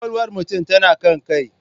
Kwakwalwar mutum tana kan kai.